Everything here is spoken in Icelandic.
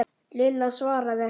Lilla svaraði ekki.